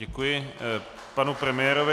Děkuji panu premiérovi.